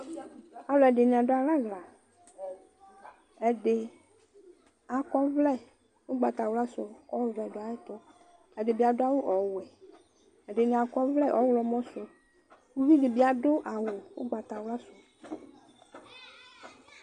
alʊɛdɩnɩ adʊ alɛ aɣla, ɛdɩ akɔ ɔvlɛ ugbatawla kʊ ɔvɛ dʊ ayɛtʊ, ɛdɩ adʊ awu ɔwɛ, ɛdɩnɩ akɔ ɔvlɛ ɔɣlɔmɔ, uvi dɩbɩ adʊ awʊ ugbatawla,